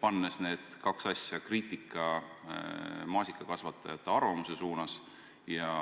Pannes need kaks asja – maasikakasvatajate kriitika